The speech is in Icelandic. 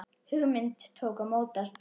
Hugmynd tók að mótast.